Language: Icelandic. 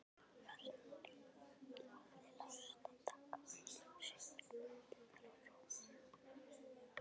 Karen hafði láðst að taka sumar myndirnar úr römmunum.